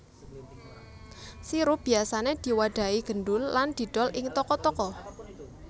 Sirup biyasané diwadhahi gendul lan didol ing toko toko